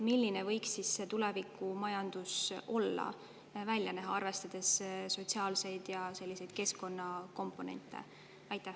Milline võiks see tulevikumajandus olla ja välja näha, arvestades sotsiaalseid ja keskkonnakomponente?